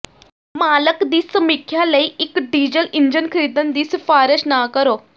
ਮਾਲਕ ਦੀ ਸਮੀਖਿਆ ਲਈ ਇੱਕ ਡੀਜ਼ਲ ਇੰਜਣ ਖਰੀਦਣ ਦੀ ਸਿਫਾਰਸ਼ ਨਾ ਕਰੋ